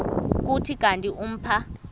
kuthi kanti umpha